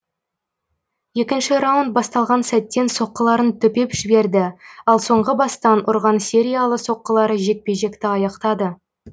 екінші раунд басталған сәттен соққыларын төпеп жіберді ал соңғы бастан ұрған сериялы соққылары жекпе жекті аяқтады